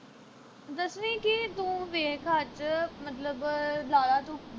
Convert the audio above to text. ਦਸਵੀਂ ਕੀ ਤੂੰ ਵੇਖ ਅੱਜ ਮਤਲਬ ਲਾ ਲਾ ਤੂੰ